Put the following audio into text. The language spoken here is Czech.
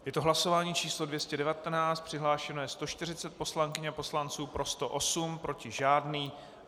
Je to hlasování číslo 219, přihlášeno je 140 poslankyň a poslanců, pro 108, proti žádný.